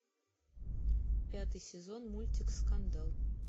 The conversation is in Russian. пятый сезон мультик скандал